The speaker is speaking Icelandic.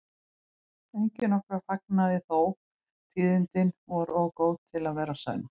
Enginn okkar fagnaði þó, tíðindin voru of góð til að vera sönn.